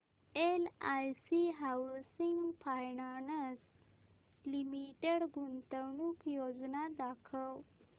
LIC housing finance limited गुंतवणूक योजना दाखव